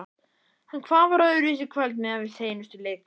En hvað var öðruvísi í kvöld miðað við seinustu leiki?